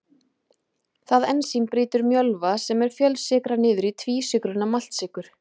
það ensím brýtur mjölva sem er fjölsykra niður í tvísykruna maltsykur